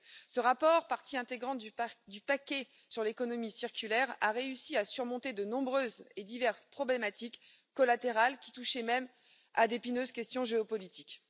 Ce rapport, partie intégrante du paquet sur l'économie circulaire, a réussi à surmonter de nombreuses et diverses problématiques collatérales qui touchaient même à d'épineuses questions géopolitiques.